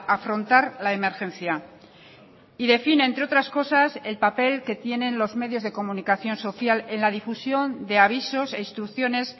afrontar la emergencia y define entre otras cosas el papel que tienen los medios de comunicación social en la difusión de avisos e instrucciones